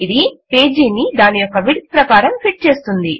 ఇది పేజీని దాని యొక్క విడ్త్ ప్రకారం ఫిట్ చేస్తుంది